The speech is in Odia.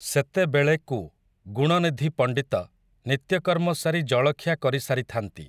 ସେତେବେଳେକୁ ଗୁଣନିଧି ପଣ୍ଡିତ, ନିତ୍ୟକର୍ମ ସାରି ଜଳଖିଆ କରିସାରିଥାନ୍ତି ।